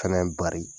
Fɛnɛ bari